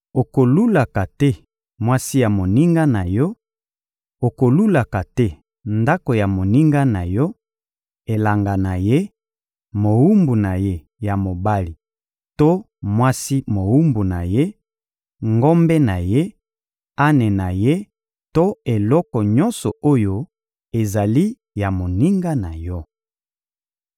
Okolulaka te mwasi ya moninga na yo; okolulaka te ndako ya moninga na yo, elanga na ye, mowumbu na ye ya mobali to mwasi mowumbu na ye, ngombe na ye, ane na ye to eloko nyonso oyo ezali ya moninga na yo.›»